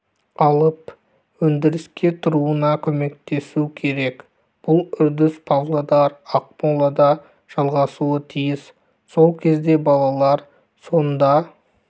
алып өндіріске тұруына көмектесу керек бұл үрдіс павлодар ақмолада жалғасуы тиіс сол кезде балалар сонда